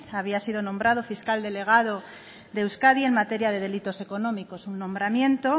había sido nombrado fiscal delegado de euskadi en materia de delitos económicos un nombramiento